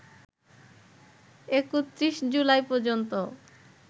৩১ July পর্যন্ত